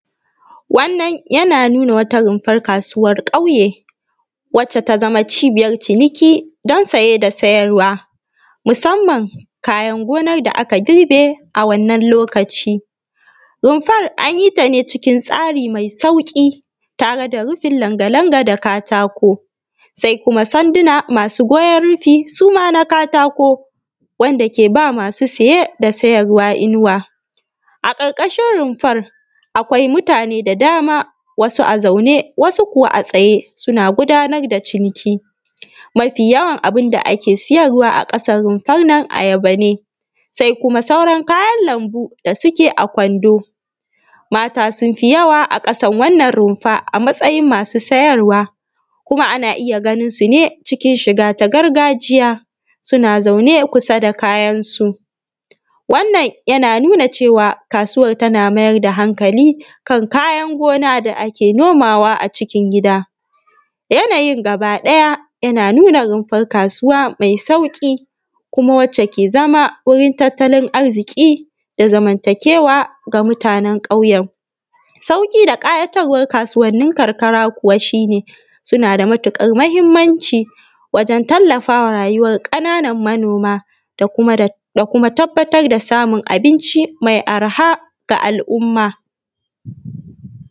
Wannan anaa nunaa wata rumfar kaasuwar ƙauye, wacce ta zama cibiyar ciniki don saye da sayar wa, musamman kayan gonar da aka girbe a wannan lokaci. Rumfar an yi ta ne cikin tsarii mai sauƙi, tare da rufin langa-langa da katako, sai kuma sanduna masuu goyon rufii su ma na katako, wanda ke ba masu saye da sayar wa inuwa.. A ƙarƙashin rumfar akwai mutane da dama, wasu a zaune, wasu kuwa a tsaye, suna gudanar da ciniki. Mafi-yawan abin da ake siyar wa a ƙasar rumfar nan ayaba ne, sai kuma sauran kayan lambu da suke a kwando. Mata sun fi jawa a ƙasan wannan rumfa a matsajin masu sayar wa, kuma ana iya ganin su ne cikin shigar gargajiya gargajiya suna zaune kusa da kayansu. Wannan yana nuna cewa kaasuwar tana mai da hankali kan kayan gona da ake noma wa acikin gida. Yanayin gaba ɗaya yana nunaa rumfar kaasuwa mai sauƙi kuma wacce ke zama wurin tattalin arziƙi da zamantakewa ga mutanen ƙauyen. Sauƙi da ƙayaatar war kaasuwannin karkara kuwa shi ne, suna da matuƙar muhimmanci wurin tallafawa rayuwar ƙananan manooma, da kuma tabbatar da samun abinci mai arha ga al’umma.